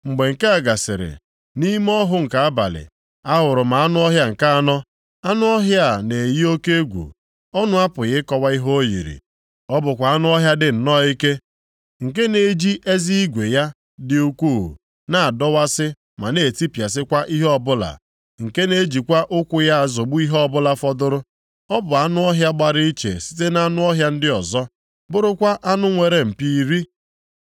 “Mgbe nke a gasịrị, nʼime ọhụ nke abalị, ahụrụ m anụ ọhịa nke anọ. Anụ ọhịa a na-eyi oke egwu, ọnụ apụghị ịkọwa ihe o yiri. Ọ bụkwa anụ ọhịa dị nnọọ ike, nke na-eji eze igwe ya dị ukwuu na-adọwasị ma na-etipịasịkwa ihe ọbụla, nke na-ejikwa ụkwụ ya azọgbu ihe ọbụla fọdụrụ. Ọ bụ anụ ọhịa gbara iche site nʼanụ ọhịa ndị ọzọ, bụrụkwa anụ nwere mpi iri.